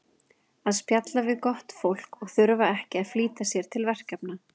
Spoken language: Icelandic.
að spjalla við gott fólk og þurfa ekki að flýta sér til verkefna